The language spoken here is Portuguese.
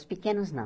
Os pequenos, não.